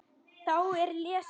Þá er lesið